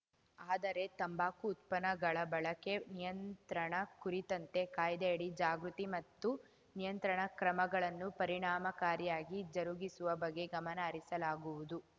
ಆದರೆ ತಂಬಾಕು ಉತ್ಪನ್ನಗಳ ಬಳಕೆ ನಿಯಂತ್ರಣ ಕುರಿತಂತೆ ಕಾಯ್ದೆಯಡಿ ಜಾಗೃತಿ ಮತ್ತು ನಿಯಂತ್ರಣ ಕ್ರಮಗಳನ್ನು ಪರಿಣಾಮಕಾರಿಯಾಗಿ ಜರುಗಿಸುವ ಬಗ್ಗೆ ಗಮನ ಹರಿಸಲಾಗುವುದು